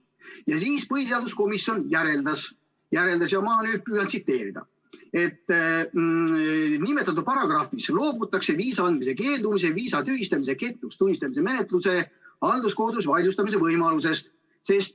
Ja siis põhiseaduskomisjon järeldas ja ma nüüd püüan tsiteerida: "Nimetatud paragrahvis loobutakse viisa andmisest keeldumise, viisa tühistamise ja kehtetuks tunnistamise menetluse halduskohtus vaidlustamise võimalusest.